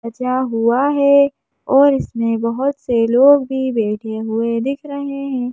बचा हुआ है और इसमें बहुत से लोग भी बैठे हुए दिख रहे हैं।